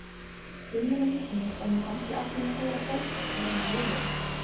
inni með hnífnum og mér fannst ég allt í einu heyra hrópað neðan úr jörðinni.